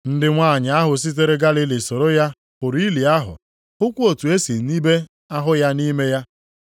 Ndị nwanyị ahụ sitere Galili soro ya hụrụ ili ahụ, hụkwa otu e si nibe ahụ ya nʼime ya.